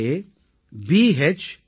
gov